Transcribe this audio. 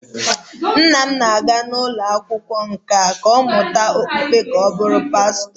Nna m na-aga ụlọ akwụkwọ nkà mmụta okpukpe ka ọ bụrụ pastọ